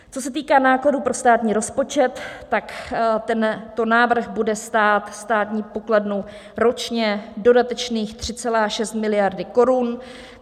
Co se týče nákladů pro státní rozpočet, tento návrh bude stát státní pokladnu ročně dodatečných 3,6 miliardy korun.